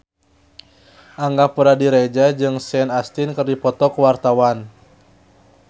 Angga Puradiredja jeung Sean Astin keur dipoto ku wartawan